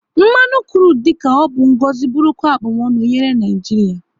Mmanụ krudu dị ka ọ bụ ngọzi bụrụkwa abumonu nyere Naijiria